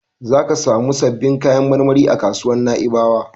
Zaka samu sabbin kayan marmari a kasuwar Na'ibawa.